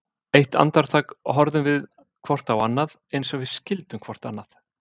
Eitt andartak horfðum við hvort á annað, eins og við skildum hvort annað.